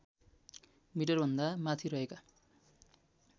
मिटरभन्दा माथि रहेका